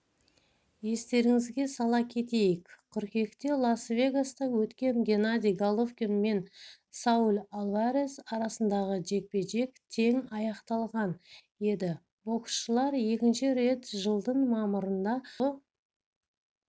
естеріңізге сала кетейік қыркүйекте лас-вегаста өткен геннадий головкин мен сауль альварес арасындағы жекпе-жек теңаяқталған еді боксшылар екінші рет жылдың мамырында жұдырықтасуы